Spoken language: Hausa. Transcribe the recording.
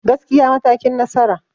Gaskiya matakin nasara.